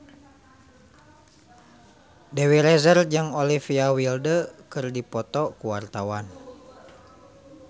Dewi Rezer jeung Olivia Wilde keur dipoto ku wartawan